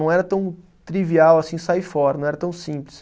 Não era tão trivial assim sair fora, não era tão simples.